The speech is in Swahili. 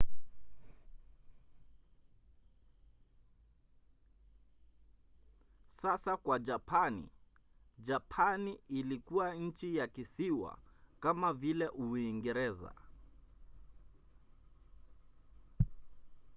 sasa kwa japani. japani ilikuwa nchi ya kisiwa kama vile uingereza